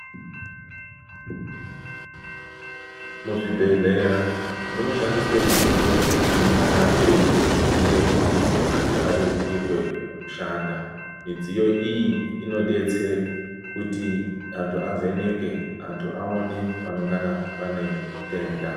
Muzvibhedhlera munoshandiswa midziyo inongana yeita kuti antu arerukirwe kushanda midziyo iyi inodetsera kuti antu avheneke antu aone panongana pane denda.